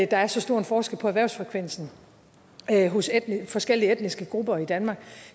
der er så stor forskel på erhvervsfrekvensen hos forskellige etniske grupper i danmark